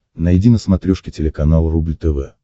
найди на смотрешке телеканал рубль тв